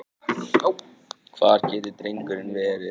Hvar getur drengurinn verið?